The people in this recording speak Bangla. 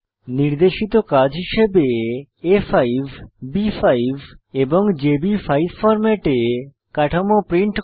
নির্দেশিত কাজ হিসাবে আ5 বি5 এবং জেবি5 ফরম্যাটে কাঠামো প্রিন্ট করা